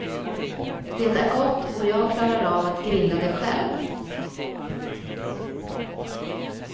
Det är gott och jag klarar av att grilla det själv.